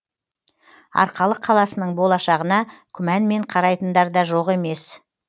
арқалық қаласының болашағына күмәнмен қарайтындар да жоқ емес